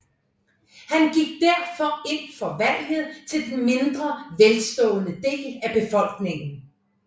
Han gik derfor ind for valgret til den mindre velstående del af befolkningen